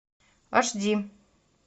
аш ди